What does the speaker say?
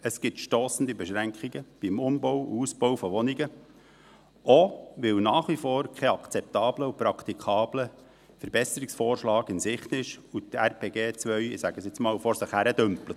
Es gibt stossende Beschränkungen beim Um- und Ausbau von Wohnungen, auch weil nach wie vor kein akzeptabler und praktikabler Verbesserungsvorschlag in Sicht ist und das RPG 2 – ich sage es einmal so – vor sich hindümpelt.